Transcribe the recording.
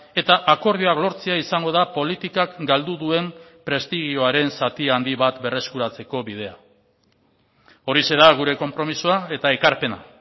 eta akordioak lortzea izango da politikak galdu duen prestigioaren zati handi bat berreskuratzeko bidea horixe da gure konpromisoa eta ekarpena